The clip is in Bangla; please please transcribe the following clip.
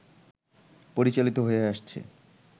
পরিচালিত হয়ে আসছে